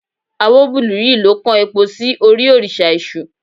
Awóbùlúyì lọ kan epo sí orí òrìṣà èṣù